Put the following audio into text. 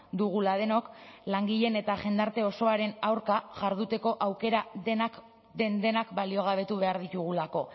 dugula denok langileen eta jendarte osoaren aurka jarduteko aukera den denak baliogabetu behar ditugulako